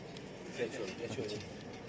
Keç, keç, keç.